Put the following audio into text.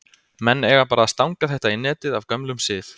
Menn eiga bara að stanga þetta í netið af gömlum sið!